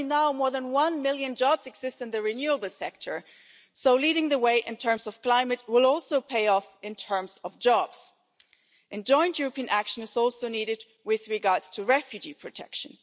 Already, more than one million jobs exist in the renewable sector, so leading the way as regards the climate will also pay off in terms of jobs. Joint European action is also needed with regard to refugee protection.